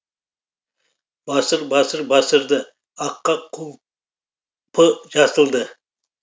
басыр басыр басыр ды аққа құлпы жасылды